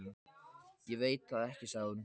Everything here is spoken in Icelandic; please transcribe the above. Ég veit það ekki sagði hún.